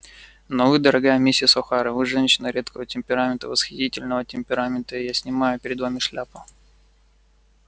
но вы дорогая миссис охара вы женщина редкого темперамента восхитительного темперамента и я снимаю перед вами шляпу